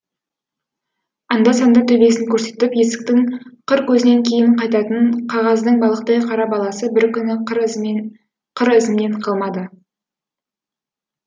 анда санда төбесін көрсетіп есіктің қыр көзінен кейін қайтатын қағаздың балықтай қара баласы бір күні ізімнен қалмады